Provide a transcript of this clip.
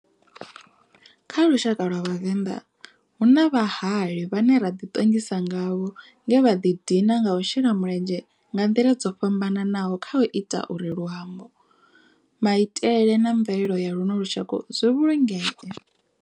Kha lushaka lwa vhavenḓa, hu na vhahali vhane ra di tongisa ngavho nge vha ḓi dina nga u shela mulenzhe nga ndila dzo fhambananaho khau ita uri luambo, maitele na mvelele ya luno lushaka zwi vhulungee.